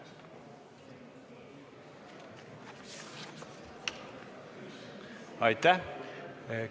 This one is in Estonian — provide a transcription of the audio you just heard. Aitäh!